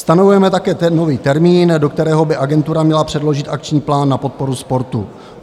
Stanovujeme také nový termín, do kterého by agentura měla předložit akční plán na podporu sportu.